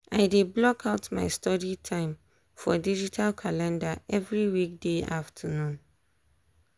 i dey block out my study time for digital calender every weekday afternoon.